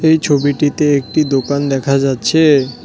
এই ছবিটিতে একটি দোকান দেখা যাচ্ছে।